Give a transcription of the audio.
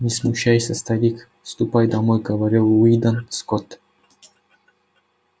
не смущайся старик ступай домой говорил уидон скотт